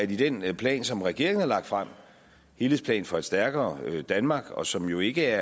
den plan som regeringen har lagt frem helhedsplan for et stærkere danmark og som jo ikke